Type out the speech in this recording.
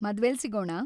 ಮದ್ವೆ‌ಲಿ ಸಿಗೋಣ!